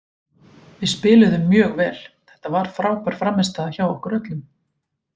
Við spiluðum mjög vel, þetta var frábær frammistaða hjá okkur öllum.